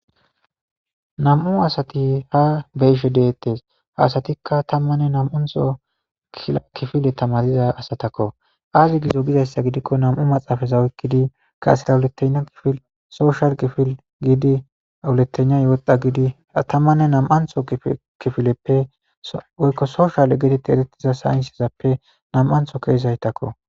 Nam'u asati ha beyishe deettes haasatikka tammanne nam'untho kifile tamadiza asatakko aazi giido gizayssa gidikko nam'u maxaafaza weykkidi kaasera wuletena kifil sooshal kifil giidi awuletena yooda gidi atammanne nam'antho kifileppe woykko soshal gidete eretiza saynsezappe nam'antho keezaytakko.